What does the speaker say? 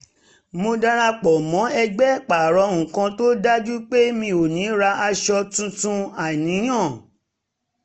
mo darapọ̀ mọ́ ẹgbẹ́ pààrọ̀ nǹkan tó dájú pé mi ò ní rà aṣọ tuntun àìníyàn